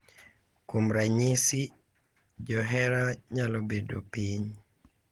Kuom ranyisi, johera nyalo bedo piny .